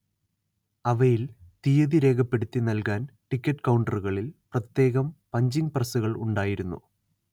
അവയിൽ തിയ്യതി രേഖപ്പെടുത്തി നൽകാൻ ടിക്കറ്റ് കൗണ്ടറുകളിൽ പ്രത്യേകം പഞ്ചിങ് പ്രസ്സുകൾ ഉണ്ടായിരുന്നു